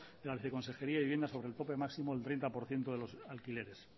de la viceconsejería de vivienda sobre el tope máximo del treinta por ciento de los alquileres